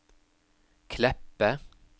Kleppe